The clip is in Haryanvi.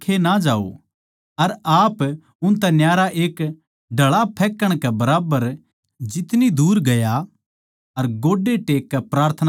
अर आप उनतै न्यारा एक डळा फेकण के बराबर जितनी दूर गया अर गोड्डे टेक कै प्रार्थना करण लाग्या